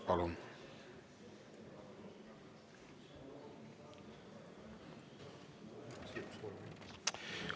Palun!